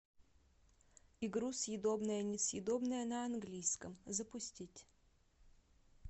игру съедобное несъедобное на английском запустить